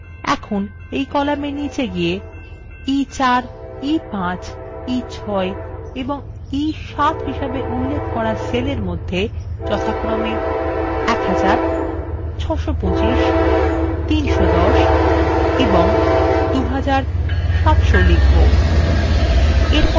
এখন column নিচে গিয়ে আমরা